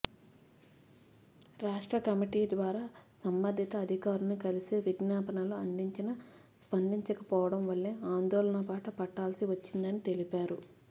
రాష్ట్ర కమిటీ ద్వారా సంబంధిత అధికారుల్ని కలిసి విజ్ఞాపనలు అందించినా స్పందించకపోవడం వల్లే ఆందోళన బాట పట్టాల్సి వచ్చిందని తెలిపారు